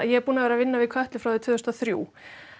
ég er búin að vera að vinna við Kötlu frá því árið tvö þúsund og þrjú